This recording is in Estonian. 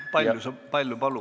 Palju palud?